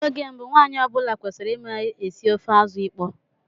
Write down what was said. Oge mbụ, nwanyị ọ bụla kwesịrị ịma esi ofe azụ ịkpọ.